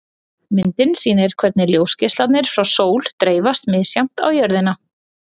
Myndin sýnir hvernig ljósgeislarnir frá sól dreifast misjafnt á jörðina.